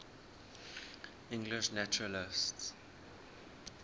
english naturalists